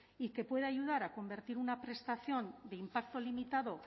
y que puede ayudar a convertir una prestación de impacto limitado